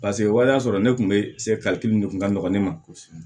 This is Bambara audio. Paseke waleya sɔrɔ ne kun bɛ se kalikelen de kun ka nɔgɔn ne ma kosɛbɛ